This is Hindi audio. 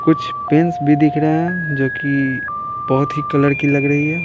कुछ पेंस भी दिख रहे हैंजो कि बहुत ही कलर की लग रही है।